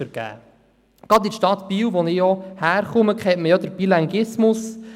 Gerade in der Stadt Biel, wo ich herkomme, kennt man den Bilinguismus.